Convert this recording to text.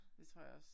Det tror jeg også